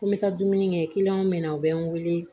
Ko n bɛ taa dumuni kɛ bɛ na u bɛ n wele